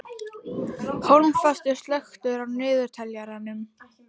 Hólmfastur, slökktu á niðurteljaranum.